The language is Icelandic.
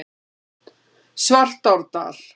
Svartárdal